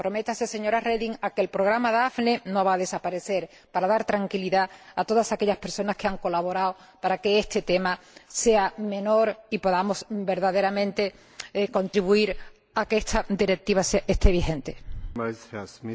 Comprométase, señora Reding, a que el Programa Daphne no desaparezca, para dar tranquilidad a todas aquellas personas que han colaborado para que este tema sea menor y podamos verdaderamente contribuir a que esta Directiva entre en vigor.